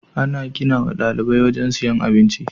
Ana ginawa ɗalibai wajan siyan abinci